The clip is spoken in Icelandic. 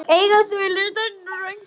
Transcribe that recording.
Eiga þau lítinn dreng.